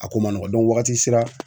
A ko man nɔgɔn wagati sera